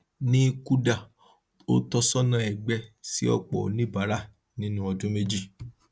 ní kuda ó tọsọnà ẹgbẹ sí ọpọ oníbàárà nínú ọdún méjì